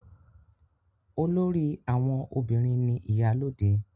Olórí àwọn obìnrin ni Ìyálóde.